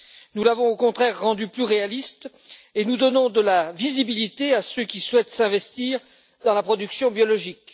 Nous l'avons au contraire rendue plus réaliste et nous donnons de la visibilité à ceux qui souhaitent s'investir dans la production biologique.